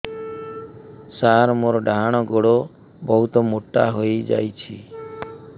ସାର ମୋର ଡାହାଣ ଗୋଡୋ ବହୁତ ମୋଟା ହେଇଯାଇଛି